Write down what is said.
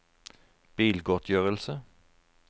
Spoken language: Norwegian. bilgodtgjørelse